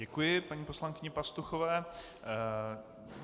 Děkuji paní poslankyni Pastuchové.